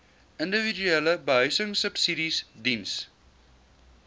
individuele behuisingsubsidies diens